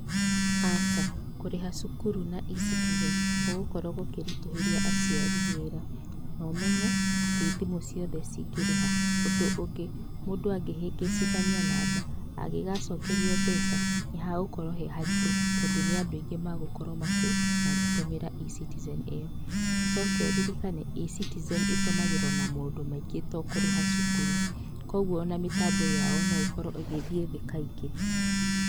Aca, kũrĩha cũkurũ na eCitizen gũgũkorwo gũkĩritũhĩria aciari wĩra, no menye ti thimũ ciothe ingĩrĩha. Ũndũ ũngĩ mũndũ angĩhĩngĩcithania namba angĩgacokerio mbeca nĩ hagũkorwo harĩ haritũ tondũ nĩ andũ aingĩ magũkorwo makĩhũthĩra eCitizen ĩyo, ũcoke ũririkane eCitizen ĩtũmagĩrwo na maũndũ maingĩ to kũrĩha cukuru, koguo ona mĩtambo yao no ĩkorwo ĩgĩthiĩ thĩ kaingĩ.